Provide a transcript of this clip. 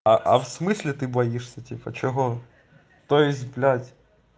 а а в смысле ты боишься типа чего то есть блядь